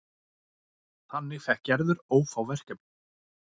Þannig fékk Gerður ófá verkefni.